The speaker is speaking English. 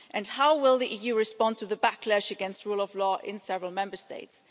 How will the EU respond to the backlash against the rule of law in several Member States?